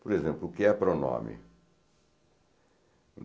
Por exemplo, o que é pronome?